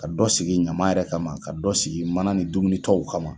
Ka dɔ sigi ɲama yɛrɛ kama ka dɔ sigi mana ni dumunitɔw kama.